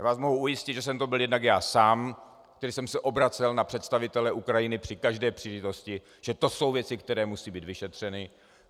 Já vás mohu ujistit, že jsem to byl jednak já sám, který jsem se obracel na představitele Ukrajiny při každé příležitosti, že to jsou věci, které musí být vyšetřeny.